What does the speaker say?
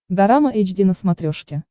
дорама эйч ди на смотрешке